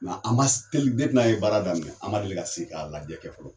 Nga anba se teli depi n'an ye baara daminɛ an ma deli ka sigi ka lajɛ kɛ fɔlɔ